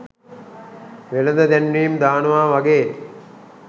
වෙළඳ දැන්වීම් දානවා වගේ